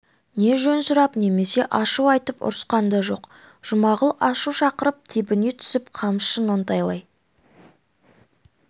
не жөн сұрап немесе ашу айтып ұрысқан да жоқ жұмағұл ашу шақырып тебіне түсіп қамшысын оңтайлай